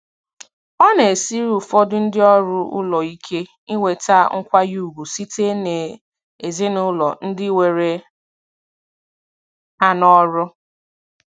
Ọ na-esiri ụfọdụ ndị ọrụ ụlọ ike inweta nkwanye ùgwù site n'ezinụlọ ndị were ha n'ọrụ.